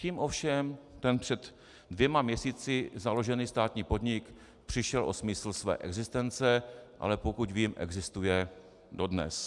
Tím ovšem ten před dvěma měsíci založený státní podnik přišel o smysl své existence, ale pokud vím, existuje dodnes.